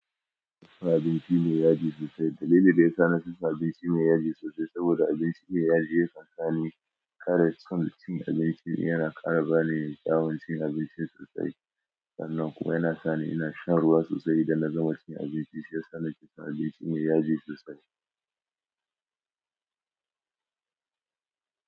Ko abinci mai yaji sosai. Dalilin da ya sa na fi son abinci mai yaji sosai saboda abinci mai yaji yakan sa ni ƙara son cin abincin. Yana ƙara bani daman cin abinci sosai sannan kuwa yana sa ni in sha ruwa sosai idan na gama cin abinci. Shi ya sa na fi son abinci mai yaji sosai.